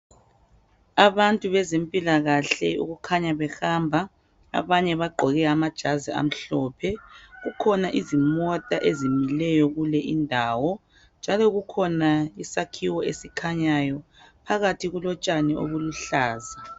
Abantu beźempilakahle okukhanya behamba abanye bagqoke amajazi amhlophe. Kukhona izimota ezimileyo kule indawo njalo kukhona isakhiwo esikhanyayo. Phakathi kulotshani obuluhlaza.